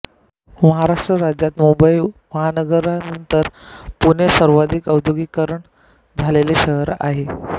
महाराष्ट्र राज्यात मुंबई महानगरानंतर पुणे सर्वाधिक औद्योगिकीकरण झालेले शहर आहे